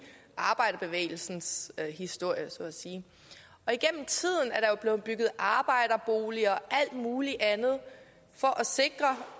arbejderbevægelsens historie så at sige og blevet bygget arbejderboliger og alt muligt andet for at sikre